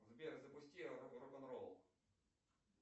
сбер запусти рок н ролл